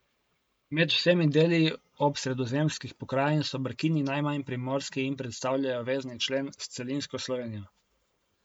Med vsemi deli Obsredozemskih pokrajin so Brkini najmanj primorski in predstavljajo vezni člen s celinsko Slovenijo.